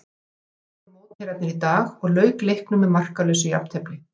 Svíar voru mótherjarnir í dag og lauk leiknum með markalausu jafntefli.